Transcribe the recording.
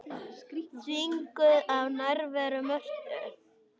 Þvinguð af nærveru Mörtu.